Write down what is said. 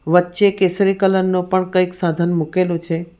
વચ્ચે કેસરી કલર નું પણ કંઈક સાધન મૂકેલું છે.